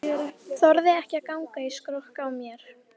Þorði ekki að ganga í skrokk á mér.